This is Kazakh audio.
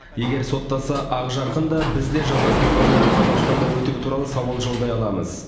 егер соттаса ақжарқын да біз де жазасын одан әрі қазақстанда өтеу туралы сауал жолдай аламыз